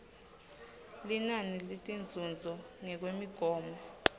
linani letinzuzo ngekwemigomo